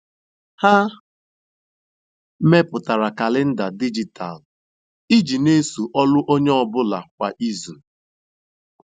Ha mepụtara kalenda dijitalụ iji n'eso ọlụ onye ọ bụla kwa izu.